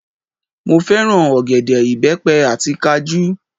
Mo fẹ́ràn ọ̀gẹ̀dẹ̀, ìbẹ́pẹ àti kajú